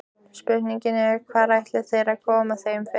Spurningin er, hvar ætla þeir að koma þeim fyrir?